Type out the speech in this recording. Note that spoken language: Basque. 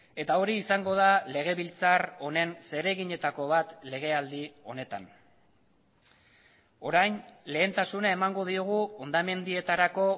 eta hori izango da legebiltzar honen zereginetako bat legealdi honetan orain lehentasuna emango diogu hondamendietarako